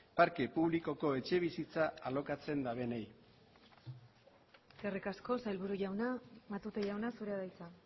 parte publikoko etxebizitza alokatzen dabenei eskerrik asko sailburu jauna matute jauna zurea da hitza